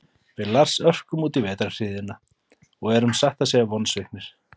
Við Lars örkum útí vetrarhríðina og erum satt að segja vonsviknir.